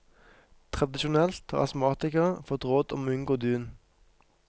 Tradisjonelt har astmatikere fått råd om å unngå dun.